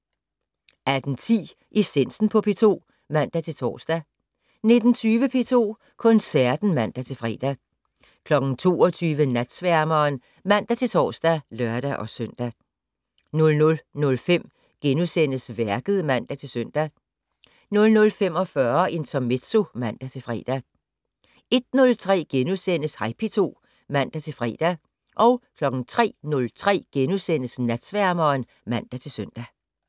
18:10: Essensen på P2 (man-tor) 19:20: P2 Koncerten (man-fre) 22:00: Natsværmeren (man-tor og lør-søn) 00:05: Værket *(man-søn) 00:45: Intermezzo (man-fre) 01:03: Hej P2 *(man-fre) 03:03: Natsværmeren *(man-søn)